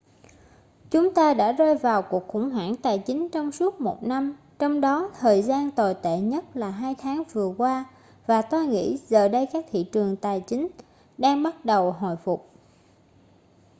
chúng ta đã rơi vào cuộc khủng hoảng tài chính trong suốt một năm trong đó thời gian tồi tệ nhất là hai tháng vừa qua và tôi nghĩ giờ đây các thị trường tài chánh đang bắt đầu hồi phục